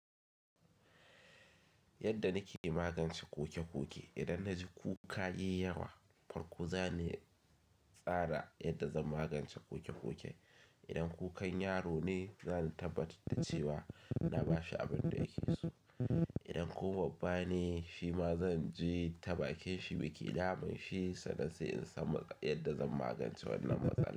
Yadda nake magance ƙuke-ƙuke, idan na ji kuka yiyawa farko za ni tsara yadda zan magance ƙuke-ƙuke. Idan kukan yaro ne za ni tabbatar da cewa na bashi abin da ya keso idan kuma babba ne shi ma zan ji ta bakinshi biki ina min shi sannan sai in san yadda zan magance wannan matsala.